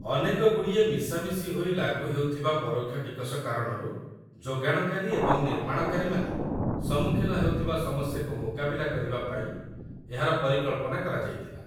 ଅନେକଗୁଡ଼ିଏ ମିଶାମିଶି ହୋଇ ଲାଗୁହେଉଥିବା ପରୋକ୍ଷ ଟିକସ କାରଣରୁ ଯୋଗାଣକାରୀ ଏବଂ ନିର୍ମାଣକାରୀମାନେ ସମ୍ମୁଖୀନ ହେଉଥିବା ସମସ୍ୟାକୁ ମୁକାବିଲା କରିବା ପାଇଁ ଏହାର ପରିକଳ୍ପନା କରାଯାଇଥିଲା